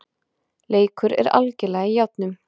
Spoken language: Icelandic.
Leikur er algerlega í járnum